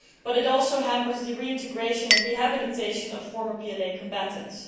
It also hampers the reintegration and rehabilitation of former PLA combatants.